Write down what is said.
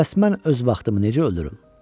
Bəs mən öz vaxtımı necə öldürüm?